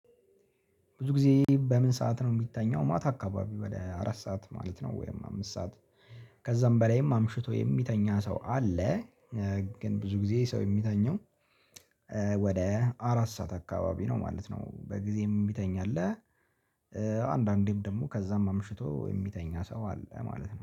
ብዙ ጊዜ በምን ሰዓት ነው የሚተኛው? ማታ አካባቢ ወደ አራት ሰዓት ማለት ነው ወይም አምስት ሰዓት ከዛም በላይም አምሽቶ የሚተኛ ሰው አለ። ግን ብዙ ጊዜ ሰው የሚተኛው ወደ አራት ሰዓት አካባቢ ነው ማለት ነው፤ በጊዜም የሚተኛለህ አለ። አንዳንዴም ደግሞ ከዛም አምሽቶ የሚተኛ ሰው አለ ማለት ነው።